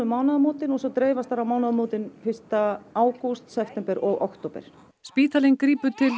mánaðamótin og svo dreifast þær um mánaðamótin fyrsta ágúst september og október spítalinn grípur til